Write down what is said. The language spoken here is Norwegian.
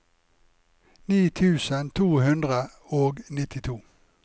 ni tusen to hundre og nittito